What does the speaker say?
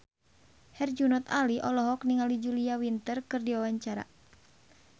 Herjunot Ali olohok ningali Julia Winter keur diwawancara